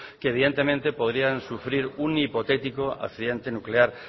que evidentemente podrían sufrir un hipotético accidente nuclear